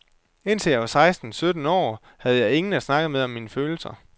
Indtil jeg var seksten sytten år, havde jeg ingen at snakke med om mine følelser.